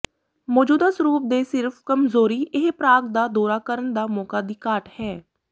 ਮੌਜੂਦਾ ਸਰੂਪ ਦੇ ਸਿਰਫ ਕਮਜ਼ੋਰੀ ਇਹ ਪ੍ਰਾਗ ਦਾ ਦੌਰਾ ਕਰਨ ਦਾ ਮੌਕਾ ਦੀ ਘਾਟ ਹੈ